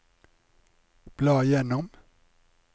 bla gjennom